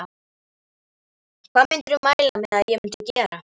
Hvað myndirðu mæla með að ég myndi gera?